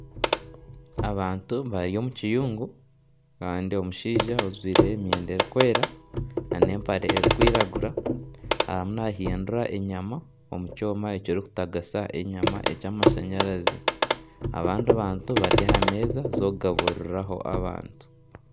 Abantu bari omu kiyungu kandi omushaija ojwire emyenda erikwera nana empare erikwiragura arimu naahindura enyama omu kyoma ekirikutagasa enyama ekyamashanyarazi, abandi bantu bari aha meeza z'okugabuririraho abantu